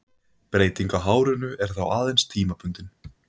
Breytingin á hárinu er þá aðeins tímabundin.